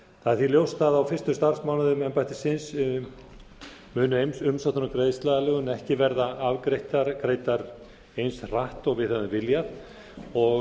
það er því ljóst að á fyrstu starfsmánuðum embættisins munu umsóknir um greiðsluaðlögun ekki verða afgreiddar eins hratt og við hefðum viljað og